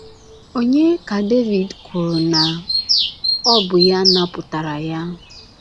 Ònye ka Devid kwuru na ọ bụ ya napụtara ya?